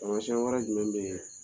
Tamasɛn wɛrɛ jumɛn bɛ ye